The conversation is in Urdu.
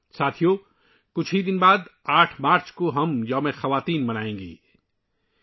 ساتھیو، کچھ ہی دنوں کے بعد 8 مارچ کو ہم 'خواتین کا دن' منائیں گے